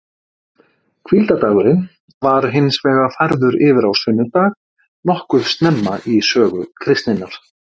Hvíldardagurinn var hins vegar færður yfir á sunnudag nokkuð snemma í sögu kristninnar.